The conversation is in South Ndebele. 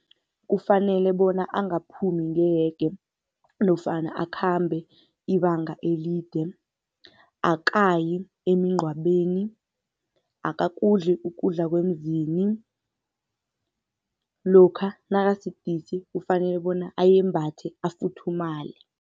Kufanele bona angaphumi ngehege nofana akhambe ibanga elide. Akayi emingcwabeni, akakudli ukudla kwemzini, lokha nakasidisi kufanele bona ayembathe afuthumale.